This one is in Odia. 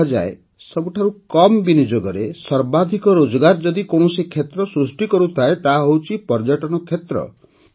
କୁହାଯାଏ ଯେ ସବୁଠାରୁ କମ ବିନିଯୋଗରେ ସର୍ବାଧିକ ରୋଜଗାର ଯଦି କୌଣସି କ୍ଷେତ୍ର ସୃଷ୍ଟି କରୁଥାଏ ତାହା ହେଉଛି ପର୍ଯ୍ୟଟନ କ୍ଷେତ୍ର